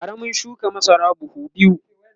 bara mun shuka masara buhu biyu